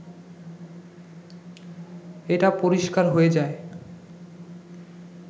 এটা পরিষ্কার হয়ে যায়